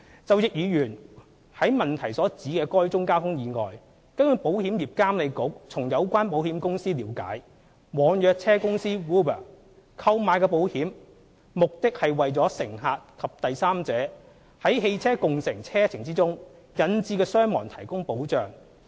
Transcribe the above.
就易議員於質詢所指的該宗交通意外，據保險業監管局從有關保險公司了解，網約車公司 "Uber" 購買的保險，目的是為乘客及第三者在汽車共乘車程中引致的傷亡提供保障。